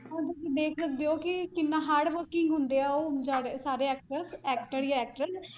ਹੁਣ ਤੁਸੀਂ ਵੇਖ ਸਕਦੇ ਹੋ ਕਿ ਕਿੰਨਾ hardworking ਹੁੰਦੇ ਆ ਉਹ ਸਾਰੇ actors actor ਜਾਂ actress